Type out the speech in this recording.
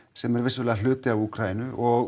sem er vissulega hluti af Úkraínu og